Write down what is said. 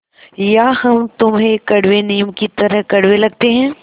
या हम तुम्हें कड़वे नीम की तरह कड़वे लगते हैं